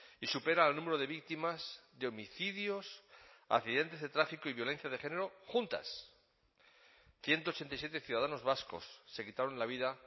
y supera al número de víctimas de homicidios accidentes de tráfico y violencia de género juntas ciento ochenta y siete ciudadanos vascos se quitaron la vida